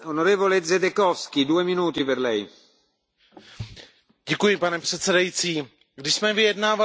Pane předsedající, když jsme vyjednávali tuto rezoluci, domluvili jsme se na tom, že to nebude žádný politický